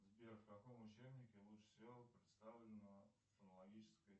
сбер в каком учебнике лучше всего представлена фонологическая